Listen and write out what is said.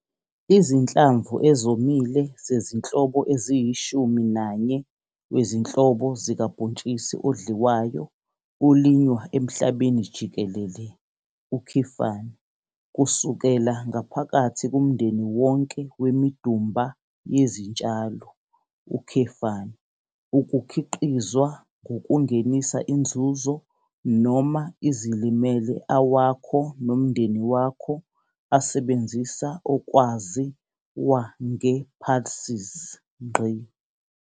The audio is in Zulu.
Izinhlamvu ezomile zezinhlobo eziyishumi nanye wezinhlobo zikabhontshisi odliwayo olinywa emhlabeni jikelele, kusukela ngaphakathi kumndeni wonke wemidumba yezintshalo, ukukhiqizwa ngokungenisa inzuzo noma izilimele awakho nomndeni wakho asebenzisa okwazi wa nge-pulses.